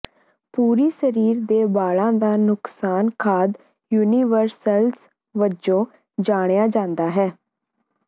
ਪੂਰੀ ਸਰੀਰ ਦੇ ਵਾਲਾਂ ਦਾ ਨੁਕਸਾਨ ਖਾਦ ਯੂਨੀਵਰਸਲਸ ਵਜੋਂ ਜਾਣਿਆ ਜਾਂਦਾ ਹੈ